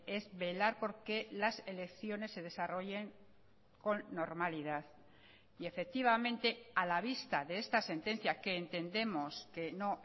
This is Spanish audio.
es velar porque las elecciones se desarrollen con normalidad y efectivamente a la vista de esta sentencia que entendemos que no